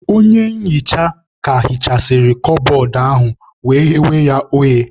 Onye nhicha ka hichasịrị kabọọdụ ahu wee ghewe ya oghe.